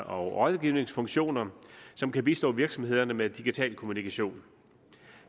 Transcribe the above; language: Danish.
og rådgivningsfunktioner som kan bistå virksomhederne med digital kommunikation